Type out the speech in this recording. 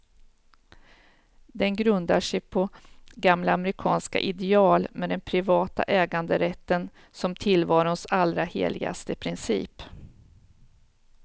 Den grundar sig på gamla amerikanska ideal, med den privata äganderätten som tillvarons allra heligaste princip.